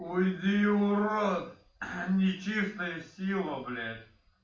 уйди урод нечистая сила блять